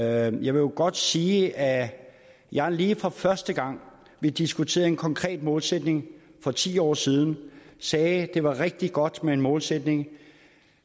jeg vil jo godt sige at jeg lige fra første gang vi diskuterede en konkret målsætning for ti år siden sagde at det var rigtig godt med en målsætning